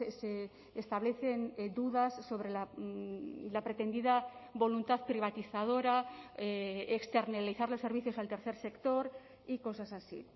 se establecen dudas sobre la pretendida voluntad privatizadora externalizar los servicios al tercer sector y cosas así